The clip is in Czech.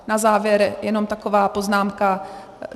Na závěr jenom taková poznámka.